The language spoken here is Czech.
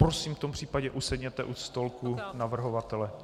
Prosím, v tom případě usedněte u stolku navrhovatele.